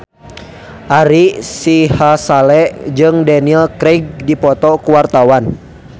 Ari Sihasale jeung Daniel Craig keur dipoto ku wartawan